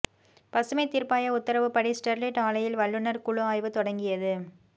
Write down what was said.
பசுமைத் தீர்ப்பாய உத்தரவுப்படி ஸ்டெர்லைட் ஆலையில் வல்லுநர் குழு ஆய்வு தொடங்கியது